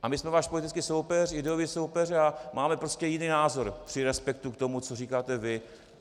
A my jsme váš politický soupeř, ideový soupeř a máme prostě jiný názor při respektu k tomu, co říkáte vy.